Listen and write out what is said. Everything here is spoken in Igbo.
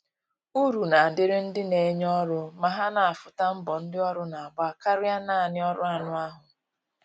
Uru na adịrị ndị na enye ọrụ ma ha na afụ ta mbọ ndi ọrụ na agba karịa naanị ọrụ anụ ahụ